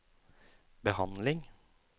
behandling